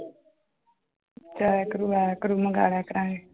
ਜਾਇਆ ਕਰੂ ਆਇਆ ਕਰੂ ਮੰਗਾ ਲਿਆ ਕਰਾਂਗੇ।